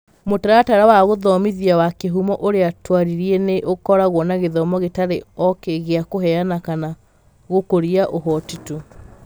Mũtaratara wa Mũtaratara wa Gũthomithia wa Gũthomithia wa Kĩhumo ũrĩa twarĩrĩria nĩ ũkoragwo na gĩthomo gĩtarĩ o gĩa kũheana kana gũkũria ũhoti tu.